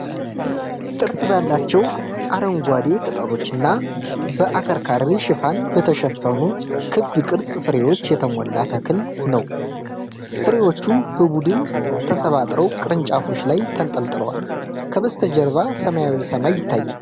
ጥርስ ባላቸው አረንጓዴ ቅጠሎችና በአከርካሪ ሽፋን በተሸፈኑ ክብ ቅርጽ ፍሬዎች የተሞላ ተክል ነው። ፍሬዎቹ በቡድን ተሰባጥረው ቅርንጫፎች ላይ ተንጠልጥለዋል። ከበስተጀርባ ሰማያዊ ሰማይ ይታያል።